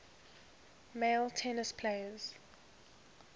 male tennis players